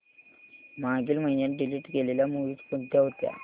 मागील महिन्यात डिलीट केलेल्या मूवीझ कोणत्या होत्या